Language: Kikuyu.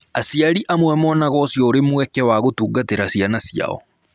Aciari amwe monaga ũcio ũrĩ mweke wa gũtungatĩra ciana ciao.